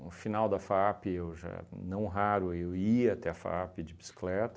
No final da FAAP eu já, não raro, eu ia até a FAAP de bicicleta,